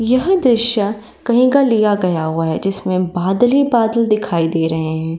यह दृश्य कही का लिया गया हुआ है। जिसमे बादल ही बादल दिखाई दे रहे हैं।